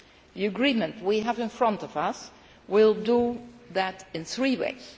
The agreement we have in front of us will do this in three ways.